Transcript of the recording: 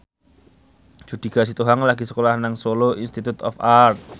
Judika Sitohang lagi sekolah nang Solo Institute of Art